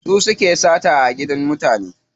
Su suke sata a gidan mutane.